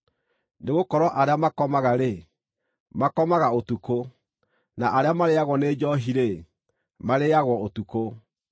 Nĩgũkorwo arĩa makomaga-rĩ, makomaga ũtukũ, na arĩa marĩĩagwo nĩ njoohi-rĩ, marĩĩagwo ũtukũ.